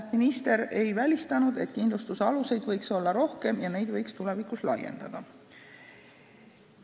Minister ei välistanud, et kindlustuse aluseid võiks olla rohkem ja neid võiks tulevikus laiendada.